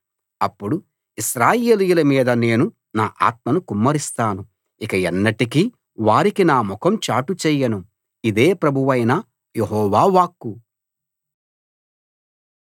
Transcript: అప్పుడు ఇశ్రాయేలీయుల మీద నేను నా ఆత్మను కుమ్మరిస్తాను ఇక ఎన్నటికీ వారికి నా ముఖం చాటు చేయను ఇదే ప్రభువైన యెహోవా వాక్కు